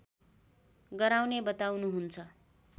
गराउने बताउनुहुन्छ